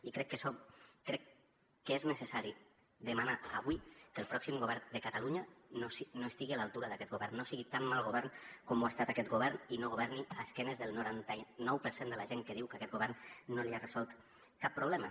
i crec que és necessari demanar avui que el pròxim govern de catalunya no estigui a l’altura d’aquest govern no sigui tan mal govern com ho ha estat aquest govern i no governi a esquenes del noranta nou per cent de la gent que diu que aquest govern no li ha resolt cap problema